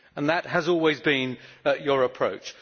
That has always been your approach.